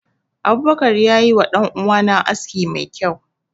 Abubakar ya yi wa danuwa na aski mai kyau.